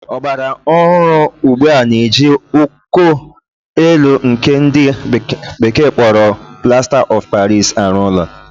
Ọgbara ohụrụ ugbua n'eji uko élú nkè ndị bekee kpọrọ Plasta of Paris arụ ụlọ